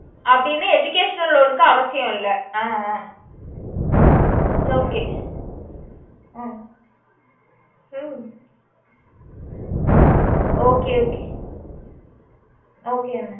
அப்புடின்னு educational loan கு அவசியம் இல்ல ah ah okay ah hmm okay okay okay mam